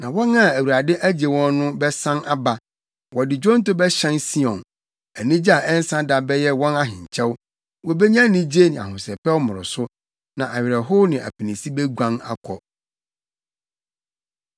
na wɔn a Awurade agye wɔn no bɛsan aba. Wɔde nnwonto bɛhyɛn Sion; anigye a ɛnsa da bɛyɛ wɔn ahenkyɛw. Wobenya anigye ne ahosɛpɛw mmoroso, na awerɛhow ne apinisi beguan akɔ.